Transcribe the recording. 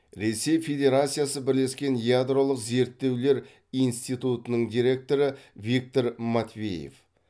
ресей федерациясы бірлескен ядролық зерттеулер институтының директоры виктор матвеев